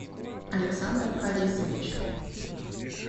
александр харисович